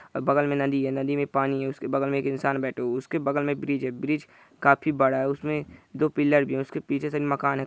बगल में नदी है नदी में पानी है उसके बगल में एक इंसान बैठे है उसके बगल में एक ब्रिज है ब्रिज काफी बड़ा है उसमे दो पिलर भी है उसके पीछे सिर्फ मकान है।